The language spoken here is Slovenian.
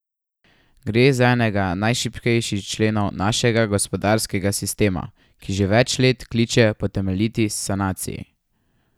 Gre za enega najšibkejših členov našega gospodarskega sistema, ki že več let kliče po temeljiti sanaciji.